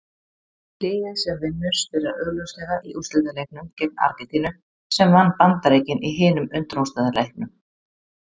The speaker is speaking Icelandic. Liðið sem vinnur spilar augljóslega í úrslitaleiknum gegn Argentínu sem vann Bandaríkin í hinum undanúrslitaleiknum.